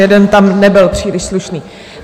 Jeden tam nebyl příliš slušný.